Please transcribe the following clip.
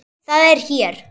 Það er hér.